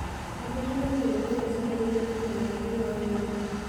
Kaji itumie ilikilku le sokoni oipirta nkwashen naamelok?